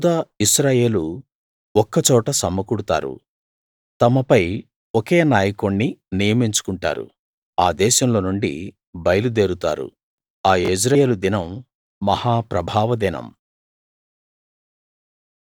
యూదా ఇశ్రాయేలు ఒక్క చోట సమకూడుతారు తమపై ఒకే నాయకుణ్ణి నియమించుకుంటారు ఆ దేశంలో నుండి బయలు దేరుతారు ఆ యెజ్రెయేలు దినం మహా ప్రభావ దినం